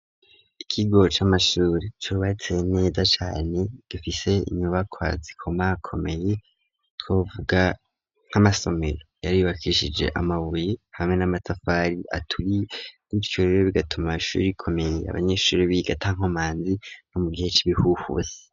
Ikigo c'amashuri cubatse neza cane, gifise inyubakwa zikoma komeye twovuga nk'amasomero yari yubakishije amabuye hamwe n'amatafari aturiye ,gutyo rero bigatuma ishuri rikomeye abanyeshuri biga atankomanzi no mu gihe c'ibihuhuse.